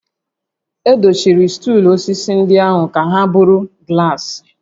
Edochiri stuulu osisi ndị ahụ ka ha bụrụ glaasị